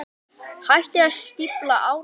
Hættið að stífla árnar.